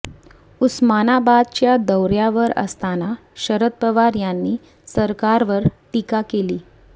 उस्मानाबादच्या दौर्यावर असताना शरद पवार यांनी सरकारवर टीका केली